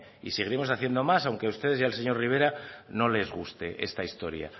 y seguiremos haciendo más aunque a ustedes y al señor rivera no les guste esta historia